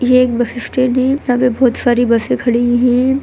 ये एक bus stand है यहा पे बहुत सारी बसे खड़ी हुई है।